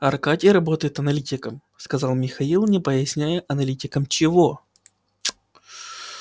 аркадий работает аналитиком сказал михаил не поясняя аналитиком чего